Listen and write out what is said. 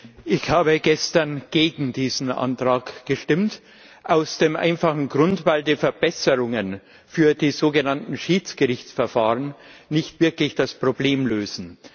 Herr Präsident! Ich habe gestern gegen diesen Antrag gestimmt aus dem einfachen Grund, dass die Verbesserungen für die sogenannten Schiedsgerichtsverfahren nicht wirklich das Problem lösen.